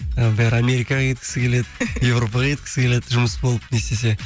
і бәрі америкаға кеткісі келеді европаға кеткісі келеді жұмыс болып не істесе